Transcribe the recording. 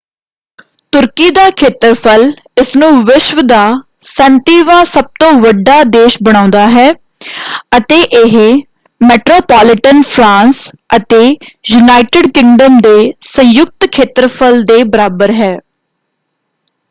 ਤੁਰਕੀ ਦਾ ਖੇਤਰਫਲ ਇਸਨੂੰ ਵਿਸ਼ਵ ਦਾ 37ਵਾਂ ਸਭ ਤੋਂ ਵੱਡਾ ਦੇਸ਼ ਬਣਾਉਂਦਾ ਹੈ ਅਤੇ ਇਹ ਮੈਟਰੋਪੋਲੀਟਨ ਫਰਾਂਸ ਅਤੇ ਯੂਨਾਈਟਿਡ ਕਿੰਗਡਮ ਦੇ ਸੰਯੁਕਤ ਖੇਤਰਫਲ ਦੇ ਬਰਾਬਰ ਹੈ।